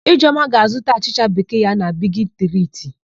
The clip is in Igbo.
Ijeọma ga-azụta achịcha bekee ya na Bigi Triti.